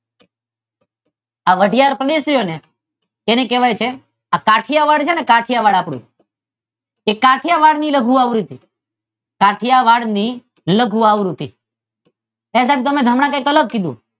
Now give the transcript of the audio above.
આ વાઢિયાર છે ણે તેને કહેવાય છે આ કાઠીયાવાડ છે ણે આપડું કાઠીયાવાડ તે કાઠીયાવાડ ની લઘુ આવૃતી કાઠીયાવાડ ની લઘુ આવૃતી સાહેબ તમે કઈક હમણાં અલગ કીધું